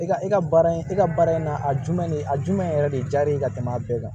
E ka e ka baara in e ka baara in na a jumɛn ne a jumɛn yɛrɛ de diyara e ye ka tɛmɛ bɛɛ kan